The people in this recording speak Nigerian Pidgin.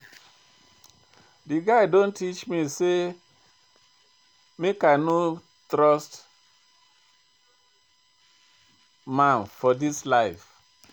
Di guy don teach me sey I make I no trust man for dis life.